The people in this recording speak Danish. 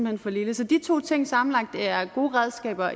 hen for lille så de to ting sammenlagt er gode redskaber